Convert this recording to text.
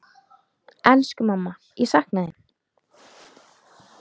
Elsku mamma, ég sakna þín.